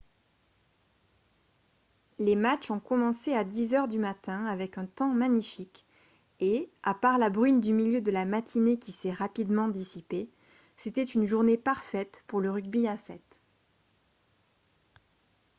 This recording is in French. les matchs ont commencé à 10 heures du matin avec un temps magnifique et à part la bruine du milieu de la matinée qui s'est rapidement dissipée c'était une journée parfaite pour le rugby à 7